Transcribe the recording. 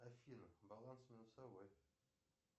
афина баланс минусовой